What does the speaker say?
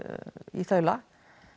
í þaula